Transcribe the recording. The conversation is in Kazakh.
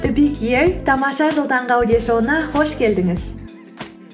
тамаша жыл таңғы аудиошоуына қош келдіңіз